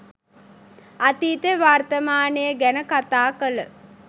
අතීතය වර්තමානය ගැන කතා කල